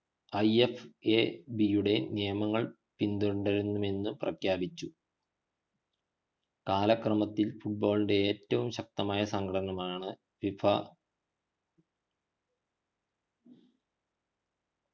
I. F. A. B യുടെ നിയമങ്ങൾ പിന്തുടരുമെന്ന് പ്രഖ്യാപിച്ചു കാലക്രമത്തിൽ football ഏറ്റവും ശ്കതമായ സംഘടനമാണ് ഫിഫ